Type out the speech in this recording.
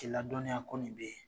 Ki ladɔnya ko min bɛ yen.